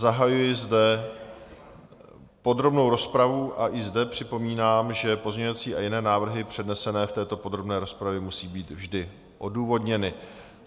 Zahajuji zde podrobnou rozpravu a i zde připomínám, že pozměňovací a jiné návrhy přednesené v této podrobné rozpravě musí být vždy odůvodněny.